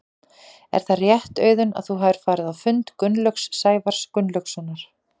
Er það rétt Auðun að þú hafir farið á fund Gunnlaugs Sævars Gunnlaugssonar?